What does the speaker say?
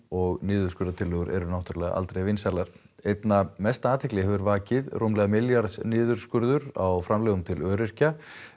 og niðurskurðartillögur eru aldrei vinsælar einna mesta athygli hefur vakið rúmlega milljarðs niðurskurður á framlögum til öryrkja